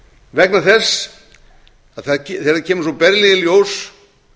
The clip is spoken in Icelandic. vegna þess að þegar kemur svo berlega í ljós